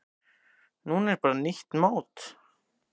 Núna er bara nýtt mót.